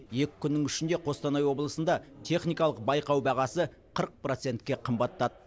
екі күннің ішінде қостанай облысында техникалық байқау бағасы қырық процентке қымбаттады